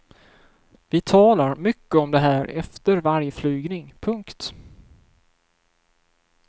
Vi talar mycket om det här efter varje flygning. punkt